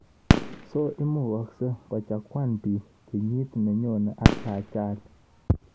So imukagsei kochaguan piik krnyit nenyone ak ajali